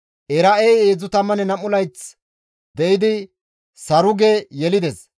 Era7ey 32 layth de7idi Saruge yelides;